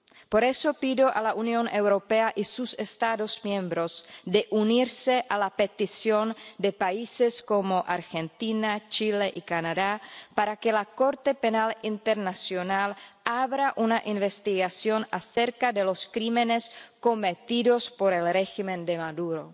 Por eso, pido a la Unión Europea y a sus Estados miembros que se unan a la petición de países como Argentina, Chile y Canadá para que la Corte Penal Internacional abra una investigación acerca de los crímenes cometidos por el régimen de Maduro,